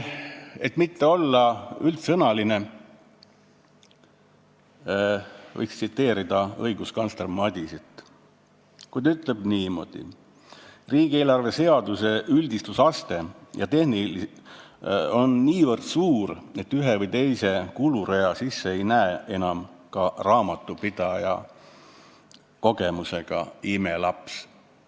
Et mitte olla üldsõnaline, võiks tsiteerida riigikontrolör Janar Holmi, kes on öelnud niimoodi: "Riigieelarve seaduse üldistusaste ja tehnilisus on lihtsalt niivõrd suur, et ühe või teise kulurea sisse ei näe enam ka raamatupidamise imelaps.